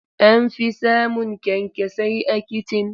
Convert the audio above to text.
An fi samun kyankyasai a kicin.